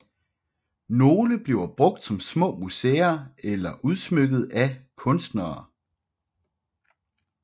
Nogle bliver brugt som små museer eller udsmykket af kunstnere